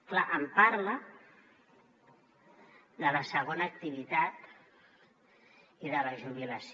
clar em parla de la segona activitat i de la jubilació